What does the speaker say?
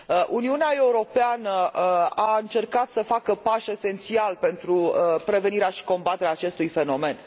Uniunea Europeană a încercat să facă pași esențiali pentru prevenirea și combaterea acestui fenomen.